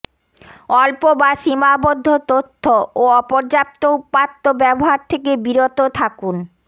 অল্প বা সীমাবদ্ধ তথ্য ও অপর্যাপ্ত উপাত্ত ব্যবহার থেকে বিরত থাকুন